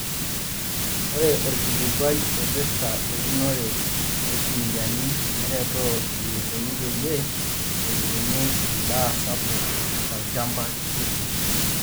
Ore orkilikuai oipirta eunore orkuniani neretoo eneikoni peyie etubuluni endaa sapuk tolchampa kitii.